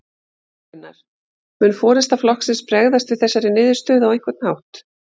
Gunnar: Mun forysta flokksins bregðast við þessari niðurstöðu á einhvern hátt?